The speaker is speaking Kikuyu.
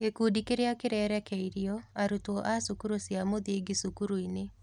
Gĩkundi kĩrĩa kĩrerekeirio: Arutwo a cukuru cia mũthingi cukuru-ĩnĩ.